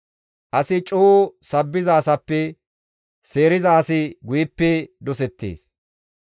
As coo sabbiza asappe seeriza asi guyeppe dosettees.